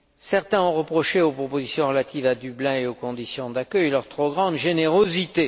Certains ont reproché aux propositions relatives à Dublin et aux conditions d'accueil leur trop grande générosité.